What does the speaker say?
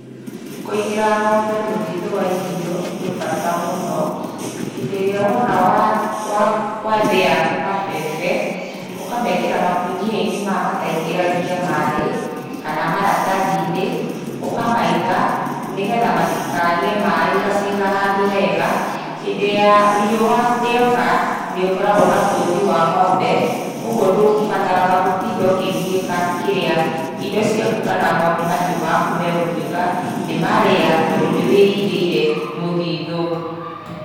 Kũigĩra ng'ombe mũthithũ wa irio gwĩbata mũno, hĩndĩ ĩrĩa wona wathĩya mabebe, ũkamekĩra makũnia-inĩ maya mataingĩragĩa maaĩ kana maratathi-inĩ, ũkamaiga nĩgetha matikagĩe maaĩ ũgaciga handũ hega. Hĩndĩ ya riũa rĩoka nĩ ũkoragwo na bothi wa ng'ombe ũguo ndũbataraga gũtinda ũkĩgiĩka kĩrĩa, indo ciaku kana mahiũ maku megũtuĩka nĩ marĩa tondũ nĩ wĩigĩire mũthithũ.